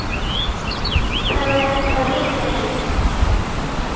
Það var þá líka líf!